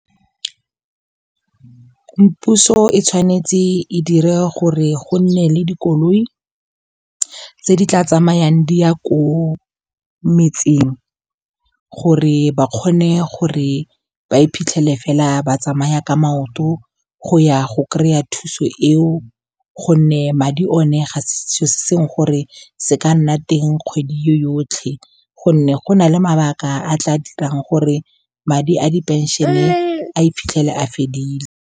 Puso e tshwanetse e dire gore go nne le dikoloi tse di tla tsamayang di ya ko metseng, gore ba kgone gore ba iphitlhele fela ba tsamaya ka maoto go ya go kry-a thuso eo. Gonne madi o ne ga se selo se gore se ka nna teng kgwedi yotlhe, gonne go na le mabaka a tla dirang gore madi a di-pension-e a iphitlhele a fedile.